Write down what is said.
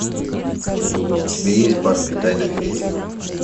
у тебя есть барби тайна феи